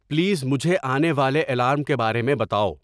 please مجھے آنے والے الارم کے بارے میں بتاؤ